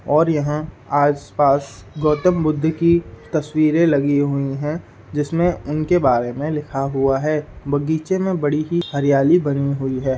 और यहाँ आस-पास गौतम बुद्ध की तस्वीरें लगी हुई हैं जिसमें उनके बारे में लिखा हुआ है बगीचे में बड़ी ही हरियाली बनी हुई है।